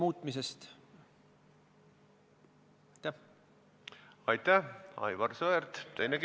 Miks see nii on, seda me ei tea.